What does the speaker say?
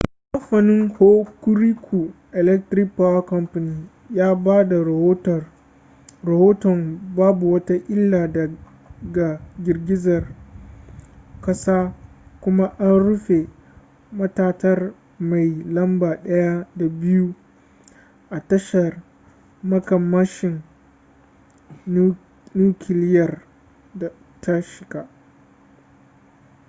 kamfanin hokuriku electric power co ya ba da rahoton babu wata illa daga girgizar kasar kuma an rufe matatar mai lamba 1 da 2 a tashar makamashin nukiliyar ta shika